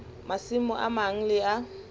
masimo a mang le a